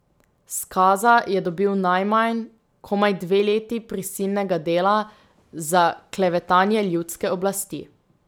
Skaza je dobil najmanj, komaj dve leti prisilnega dela za klevetanje ljudske oblasti.